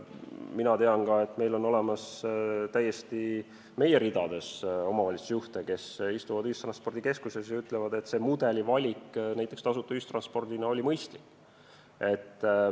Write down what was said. Ma tean ka, et on täiesti olemas ka meie ridades omavalitsusjuhte, kes istuvad ühistranspordikeskuses ja ütlevad, et tasuta ühistranspordi mudeli valik oli mõistlik.